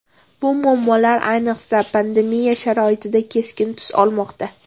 Bu muammolar ayniqsa pandemiya sharoitida keskin tus olmoqda.